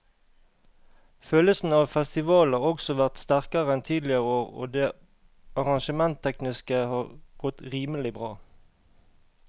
Følelsen av festival har også vært sterkere enn tidligere år og det arrangementstekniske har godt rimelig bra.